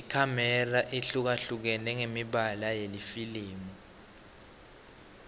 ikhamera ihlukahlukene ngemibala yelifilimu